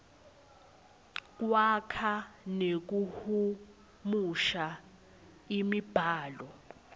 kwakha nekuhumusha imibhalo